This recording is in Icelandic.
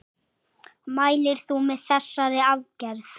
Mælir þú með þessari aðgerð?